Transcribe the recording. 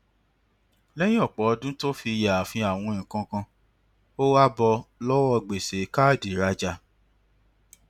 lẹyìn ọpọ ọdún tó fi yááfì àwọn nǹkan kan ó wá bọ lọwọ gbèsè káàdì ìrajà